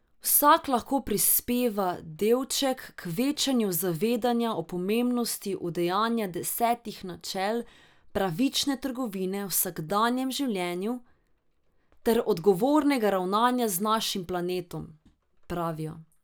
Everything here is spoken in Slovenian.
Vsak lahko prispeva delček k večanju zavedanja o pomembnosti udejanja desetih načel pravične trgovine v vsakdanjem življenju ter odgovornega ravnanja z našim planetom, pravijo.